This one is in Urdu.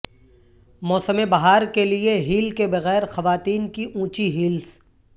موسم بہار کے لئے ہیل کے بغیر خواتین کی اونچی ہیلس